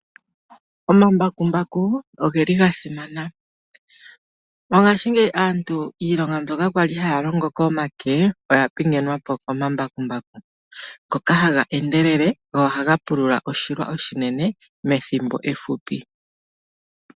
Omambakumbaku oge li gasimana, mongaashingeyi aantu iilonga mbyoka kwali haya longo komake oya pingenwapo komambakumbaku, ngoka haga endelele nohaga pulula oshilwa oshinine methimbo ehupi.